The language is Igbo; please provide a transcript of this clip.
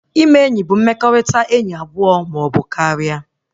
Ime enyi bụ mmekọrịta enyi abụọ maọbụ karịa